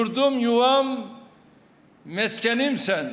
Yurdum yuvan məskənim sən.